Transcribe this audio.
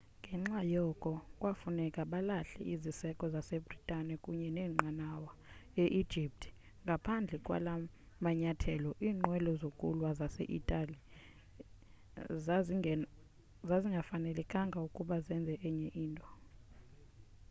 ngenxa yoko kwafuneka balahle iziseko zase-bhritane kunye neenqanawa e-egypt ngaphandle kwala manyathelo iinqwelo zokulwa zase-italiya zazingafanelekanga ukuba zenze enye into